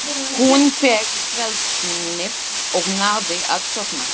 Hún fékk svefnlyf og náði að sofna.